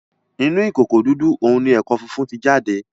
Inú ìkòkò dúdú òún ní ẹko fífún tí jáde